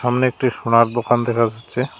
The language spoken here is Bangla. সামনে একটি সোনার দোকান দেখা যাচ্ছে।